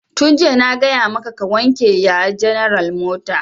Tun jiya na gaya maka ka wanke ya general mota!